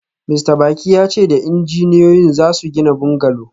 Mista Baki ya ce da injiniyoyin za su gina bungalow